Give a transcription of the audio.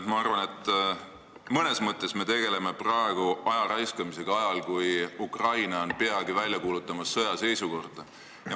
Ma arvan, et mõnes mõttes me tegeleme praegu aja raiskamisega ajal, kui Ukraina on peagi sõjaseisukorda välja kuulutamas.